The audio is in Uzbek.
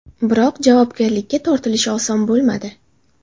Biroq javobgarlikka tortilishi oson bo‘lmadi.